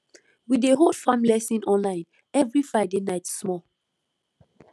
we dey hold farm lesson online every friday night small